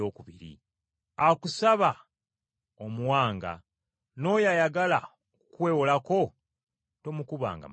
Akusaba omuwanga, n’oyo ayagala okukwewolako tomukubanga mabega.”